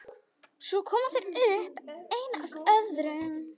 Svo koma þeir upp, einn af öðrum.